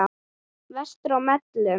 Vestur á Melum.